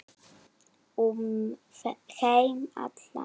Um heim allan.